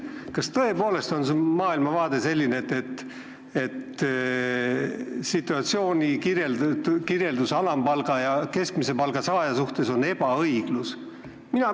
Kas tõepoolest on su maailmavaade selline, et see on ebaõiglane, kui alampalgal ja keskmisel palgal on üsna suur vahe?